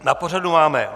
Na pořadu máme